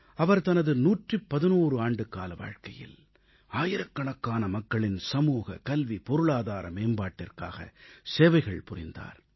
அவர் தனது 111 ஆண்டுக்கால வாழ்க்கையில் ஆயிரக்கணக்கான மக்களின் சமூக கல்வி பொருளாதார மேம்பாட்டிற்காக சேவைகள் புரிந்தார்